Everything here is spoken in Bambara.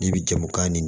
N'i bi jamu kan ni